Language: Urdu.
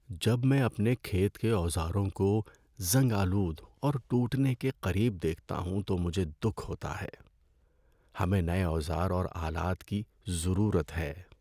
جب میں اپنے کھیت کے اوزاروں کو زنگ آلود اور ٹوٹنے کے قریب دیکھتا ہوں تو مجھے دکھ ہوتا ہے۔ ہمیں نئے اوزار اور آلات کی ضرورت ہے۔